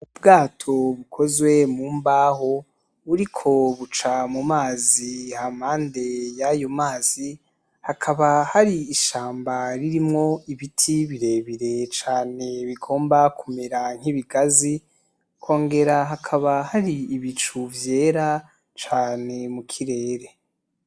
Ubwato bukozwe mu mbaho, buriko buca mu mazi , impande y‘ ayo mazi hakaba hari ishamba ririmwo ibiti birebire cane bigomba kumera nk‘ ibigazi , hakongera hakaba hari ibicu vyera cane mukirere .